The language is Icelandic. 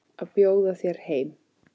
Að bjóða þér heim.